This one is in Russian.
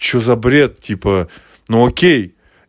что за бред типа ну окей